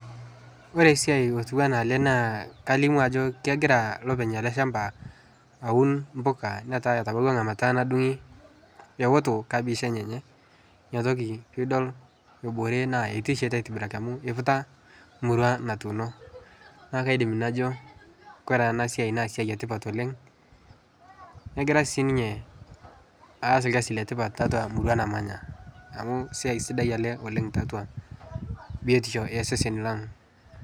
Ore esiai otiu anaa ele naa kalimu ajo kegira lopeny ele shamba aun mpoka netaa tabauwa lamata nadung'i eoto kabish enyenye. Inatoki piidol ebore naa eitashe aitibiraki amu eiputa murua natuuno. Naake aidim najo kore enasiai naa siai etipat oleng'. Negira sii ninye aas ilkasi letipat tatua murua namanya amu siai sidai ele oleng' tiatua biotisho e seseni lang'.